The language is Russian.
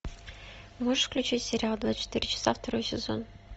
можешь включить сериал двадцать четыре часа второй сезон